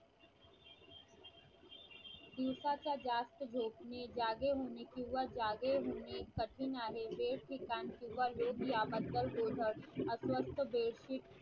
दिवसाचे जास्त झोपणे जागे होणे किंवा जागे होणे कठीण आहे